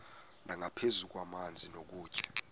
nangaphezu kwamanzi nokutya